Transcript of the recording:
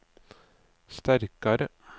sterkare